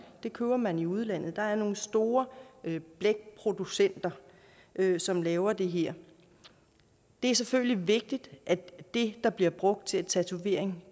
det køber man i udlandet hvor der er nogle store blækproducenter som laver det her det er selvfølgelig vigtigt at det der bliver brugt til tatovering